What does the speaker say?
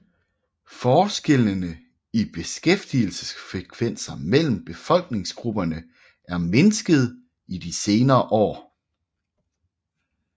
Forskellene i beskæftigelsesfrekvenser mellem befolkningsgrupperne er mindsket i de senere år